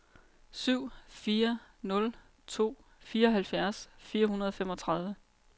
syv fire nul to fireoghalvfjerds fire hundrede og femogtredive